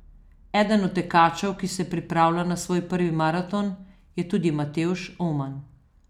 Eden od tekačev, ki se pripravlja na svoj prvi maraton, je tudi Matevž Oman.